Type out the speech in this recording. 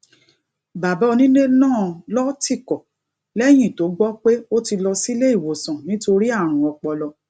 bàbá onilé náà ló tìkò lẹ́yìn tó gbọ́ pé ó ti lọ sílé ìwòsàn nítorí àrùn ọpọlọ